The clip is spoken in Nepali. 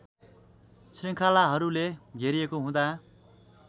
श्रृङ्खलाहरूले घेरिएको हुँदा